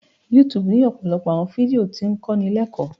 YouTube ni ọpọlọpọ awọn fidio ti ń kọni lẹkọ